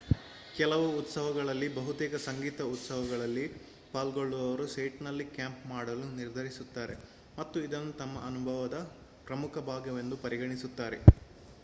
ಕೆಲವು ಉತ್ಸವಗಳಲ್ಲಿ ಬಹುತೇಕ ಸಂಗೀತ ಉತ್ಸವಗಳಲ್ಲಿ ಪಾಲ್ಗೊಳ್ಳುವವರು ಸೈಟ್‌ನಲ್ಲಿ ಕ್ಯಾಂಪ್ ಮಾಡಲು ನಿರ್ಧರಿಸುತ್ತಾರೆ ಮತ್ತು ಇದನ್ನು ತಮ್ಮ ಅನುಭವದ ಪ್ರಮುಖ ಭಾಗವೆಂದು ಪರಿಗಣಿಸುತ್ತಾರೆ